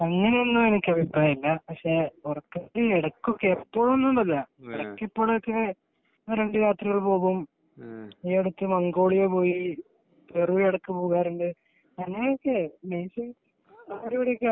അങ്ങനയെയൊന്നും എനിക്ക് അഭിപ്രായമില്ല പക്ഷെ ഉറക്കത്തിൽ ഇടക്കൊക്കെ എപ്പോഴൊന്നും ഇല്ല ഇടക്കൊക്കെ ഒന്ന് രണ്ടു യാത്രകൾ പോകും ഈയടുത്തു മംഗോളിയ പോയി അങ്ങനെയൊക്കെ